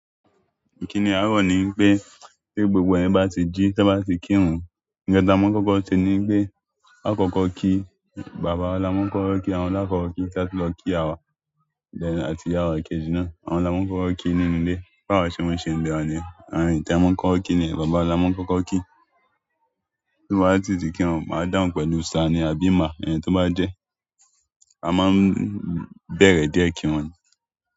Kíni arọ nìpé, pe gbogbo ènìyàn bá ti jí, tan bá ti kírun, nǹkan tí a máa ń kọ́kọ́ ni wípé, akọ́kọ́ kí bàbá la máa ń kọ́kọ́ kí, àwọn la kọ́kọ́ kí, kia to lọ kí iya wa. Then àti ìyá wá kéjì náà, àwọn là máa ń kọ́kọ́ ki nínú ilé. Báwa ṣe mọ n ṣe ni íle wa niyen, àwọn ènìyàn tí a máa ń kọ́kọ́ kí niyẹn bàbá wa la máa ń kọ́kọ́ kí. Bí mo bá si ti kiwọn, màá dàhùn pẹ̀lú sir ni àbí ma, ẹni tó bá jẹ́. A máa ń bẹ̀rẹ̀ díẹ̀ kíwọn ni.